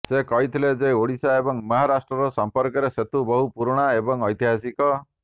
ସେ କହିଥିଲେ ଯେ ଓଡ଼ିଶା ଏବଂ ମହାରାଷ୍ଟ୍ରର ସମ୍ପର୍କର ସେତୁ ବହୁ ପୁରୁଣା ଏବଂ ଐତିହାସିକ